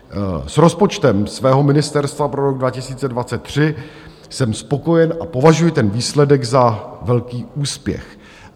S rozpočtem svého ministerstva pro rok 2023 jsem spokojen a považuji ten výsledek za velký úspěch.